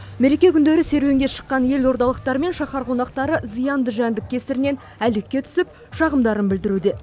мереке күндері серуенге шыққан елордалықтар мен шаһар қонақтары зиянды жәндік кесірінен әлекке түсіп шағымдарын білдіруде